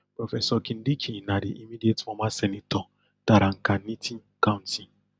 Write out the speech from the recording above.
professor kindiki na di immediate former senator tharakanithi county